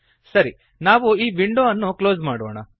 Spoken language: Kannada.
ಸರಿ ನಾವು ಈ ವಿಂಡೋ ಅನ್ನು ಕ್ಲೋಸ್ ಮಾಡೋಣ